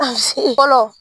A fɔlɔ.